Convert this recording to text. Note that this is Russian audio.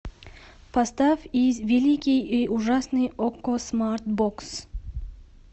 поставь великий и ужасный окко смарт бокс